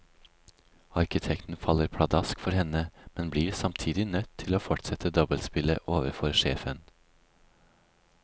Arkitekten faller pladask for henne, men blir samtidig nødt til å fortsette dobbeltspillet overfor sjefen.